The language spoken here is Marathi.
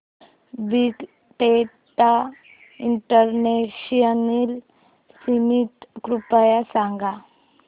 बिग डेटा इंटरनॅशनल समिट कृपया सांगा